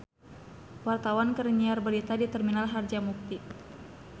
Wartawan keur nyiar berita di Terminal Harjamukti